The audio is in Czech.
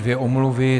Dvě omluvy.